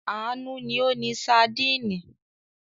Àánú ni ó ni sadínì.